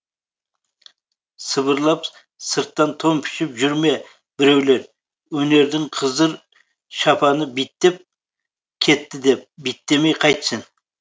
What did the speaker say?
сыбырлап сырттан тон пішіп жүр ме бірулер өнердің қызыр шапаны биттеп кетті деп биттемей қайтсін